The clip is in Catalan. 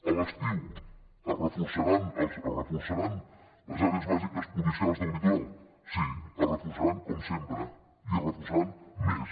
a l’estiu es reforçaran les àrees bàsiques policials del litoral sí es reforçaran com sempre i es reforçaran més